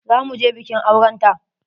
Za mu je bikin auren ta.